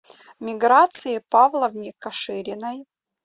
миграции павловне кашириной